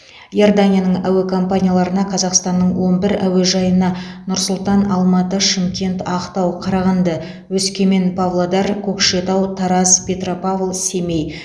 иорданияның әуе компанияларына қазақстанның он бір әуежайына нұр сұлтан алматы шымкент ақтау қарағанды өскемен павлодар көкшетау тараз петропавл семей